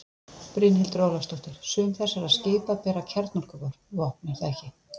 Brynhildur Ólafsdóttir: Sum þessara skipa bera kjarnorkuvopn er það ekki?